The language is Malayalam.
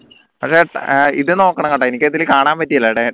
പക്ഷേ ആഹ് ഇത് നോക്കണംട്ടാ എനിക്ക് ഇതിൽ കാണാൻ പറ്റില്ല